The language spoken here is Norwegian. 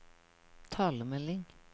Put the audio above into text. talemelding